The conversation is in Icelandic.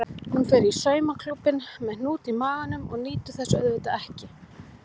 Hún fer í saumaklúbbinn með hnút í maganum og nýtur þess auðvitað ekki.